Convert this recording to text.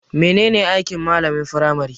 Menene aiki malamin firmari?